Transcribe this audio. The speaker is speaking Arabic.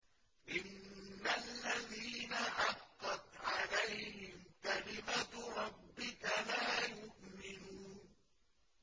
إِنَّ الَّذِينَ حَقَّتْ عَلَيْهِمْ كَلِمَتُ رَبِّكَ لَا يُؤْمِنُونَ